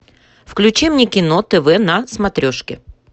включи мне кино тв на смотрешке